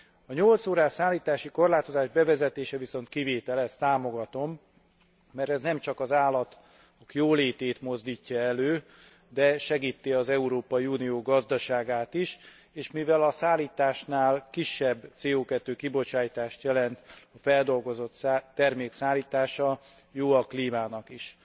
A 8 órás szállítási korlátozás bevezetése viszont kivételes, ezt támogatom, mert ez nem csak az állatok jólétét mozdítja elő, de segíti az Európai Unió gazdaságát is, és mivel a szállításnál kisebb CO 2 kibocsátást jelent a feldolgozott termék szállítása, jó a klímának is.